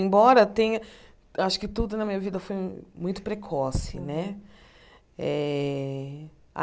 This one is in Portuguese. Embora tenha... Acho que tudo na minha vida foi muito precoce, né? Eh a